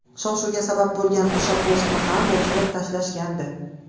Shov-shuvga sabab bo‘lgan o‘sha postni ham o‘chirib tashlashgandi.